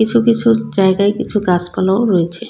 কিছু কিছু জায়গায় কিছু গাসপালাও রয়েছে।